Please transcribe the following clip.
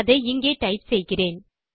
அதை இங்கே டைப் செய்கிறேன்